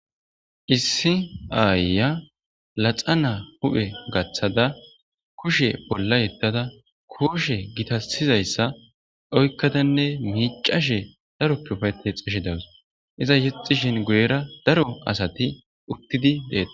issi aayya laxa naa huphe gaththada kushe bolla yettada kooshe gitasizayssa oykkadanne miicashe daroppeufayte xeshi dawus iza yexxishin guyera daro asati uttidi deeta